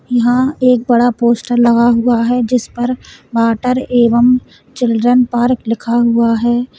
यहां एक बड़ा पोस्टर लगा हुआ है जिस पर वाटर एवं चिल्ड्रन पार्क लिख हुआ है।